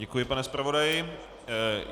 Děkuji, pane zpravodaji.